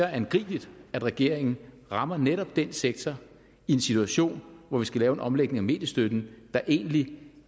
er angribeligt at regeringen rammer netop den sektor i en situation hvor vi skal lave en omlægning af mediestøtten der egentlig